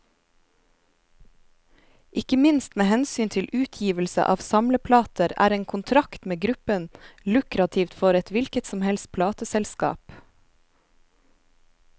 Ikke minst med hensyn til utgivelse av samleplater, er en kontrakt med gruppen lukrativt for et hvilket som helst plateselskap.